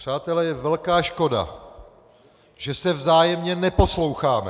Přátelé, je velká škoda, že se vzájemně neposloucháme.